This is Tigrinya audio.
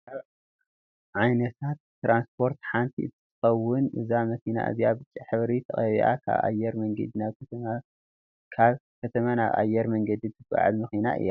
ካብ ዓይነታት ትራንስፖርት ሓንቲ እንትከከውን እዛ መኪና እዚኣ ብጫ ሕብሪ ተቀቢኣ ካብ ኣየር መንገዲ ናብ ከተማ ካብ ከተማ ናብ ኣየር መንገዲ ተጓዕዝ መኪና እያ።